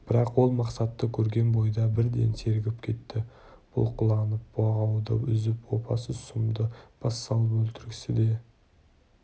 бірақ ол мақсатты көрген бойда бірден сергіп кетті бұлқынып бұғауды үзіп опасыз сұмды бас салып өлтіргісі де